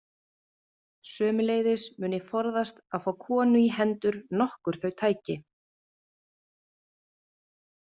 Sömuleiðis mun ég forðast að fá konu í hendur nokkur þau tæki.